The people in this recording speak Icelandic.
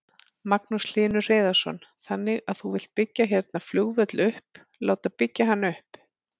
Magnús Hlynur Hreiðarsson: Þannig að þú vilt byggja hérna flugvöll upp, láta byggja hann upp?